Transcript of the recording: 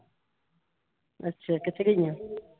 ਅੱਛਾ ਕਿੱਥੇ ਗਈਆਂ?